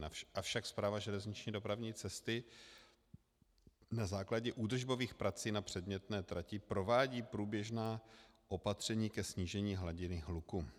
Avšak Správa železniční dopravní cesty na základě údržbových prací na předmětné trati provádí průběžná opatření ke snížení hladiny hluku.